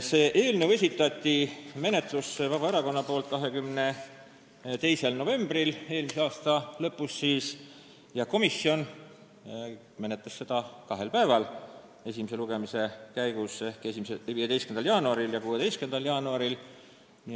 Vabaerakond esitas selle eelnõu menetlusse 22. novembril ehk siis eelmise aasta lõpus ja komisjon menetles seda esimese lugemise käigus kahel päeval: 15. jaanuaril ja 16. jaanuaril.